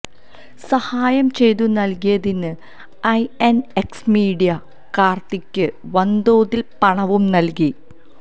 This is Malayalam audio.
സഹായം ചെയ്തു നല്കിയതിന് ഐഎന്എക്സ് മീഡിയ കാര്ത്തിക്ക് വന്തോതില് പണവും നല്കി